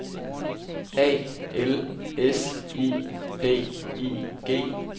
A L S I D I G